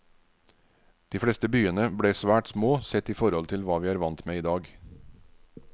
De fleste byene ble svært små sett i forhold til hva vi er vant med i dag.